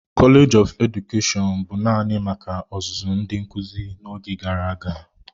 Kọleji nke Edukeshọn bụ naanị maka ọzụzụ ndị nkuzi n'oge gara aga.